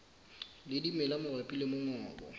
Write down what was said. le dimela mabapi le mongobo